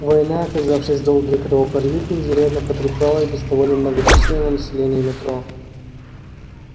война оказавшись долгой и кровопролитной изрядно потрепала без того немногочисленное население метро